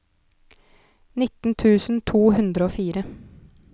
nitten tusen to hundre og fire